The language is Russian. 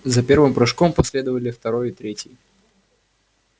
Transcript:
за первым прыжком последовали второй и третий